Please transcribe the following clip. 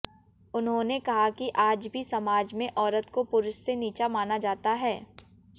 उन्होंने कहा कि आज भी समाज में औरत को पुरुष से नीचा माना जाता है